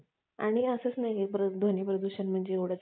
असंच नाहीये ध्वनी प्रदूषण म्हणजे एव्हडच